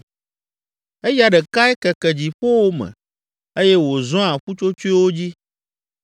Eya ɖekae keke dziƒowo me eye wòzɔa ƒutsotsoewo dzi.